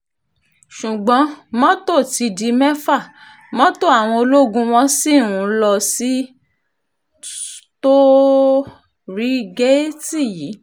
ṣùgbọ́n mọ́tò ti di mẹ́fà mọ́tò àwọn ológun wọ́n sì ń lọ sí tóò-régèètì yìí